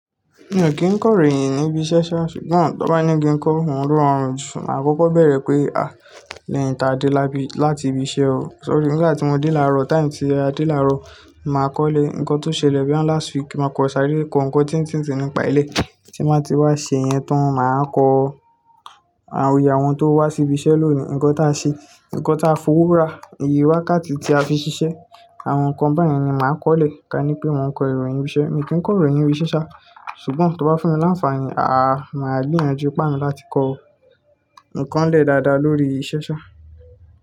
Mi ò kí ń kọ ìròyìn níbi iṣẹ́ ṣá, ṣùgbọ́n tó bá ní kí n kọ, ohun lo ma rọrùn jù. Mà á kọ́kọ́ bẹ̀rẹ̀ pé, à, lẹ́yìn tí a dé láti ibi iṣẹ́ o, sorry nígbà tí mo dé láàárọ̀, time tí a dé láàárọ̀, mà á kọ́lé ǹkan tó ṣẹlẹ̀ boya last week, mà á kọ sáré kọ ǹkan tíń tìn tì nípa ilé tí n bàá ti wá ṣe yẹn tán, mà á kọ àwọn iye àwọn tó wá sí ibi iṣẹ́ lónìí, ǹkan tó a ṣe, ǹkan tó a fọwọ́ rà, ìyè wákàtí tí a fi ṣiṣẹ́, àwọn ǹkan bayen ni mà á kọ́lé. Ka ní pé mò ń kọ ìròyìn ibi iṣẹ́, mi kí ń kọ ìròyìn ibi iṣẹ́ ṣá, ṣùgbọ́n tó bá fún mi láǹfààní, à, mà á gbìyànjú ipá mi láti kọ ǹkan lẹ́ dáadáa lórí iṣẹ́ ṣá.